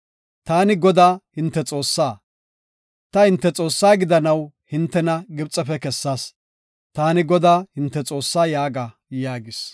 Taani Godaa, hinte Xoossaa; ta hinte Xoossaa gidanaw hintena Gibxefe kessas. Taani Godaa, hinte Xoossaa yaaga” yaagis.